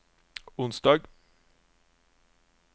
onsdag